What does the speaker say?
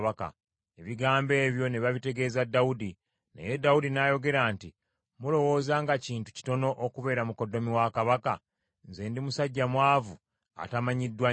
Ebigambo ebyo ne babitegeeza Dawudi. Naye Dawudi n’ayogera nti, “Mulowooza nga kintu kitono okubeera mukoddomi wa kabaka? Nze ndi musajja mwavu atamanyiddwa nnyo.”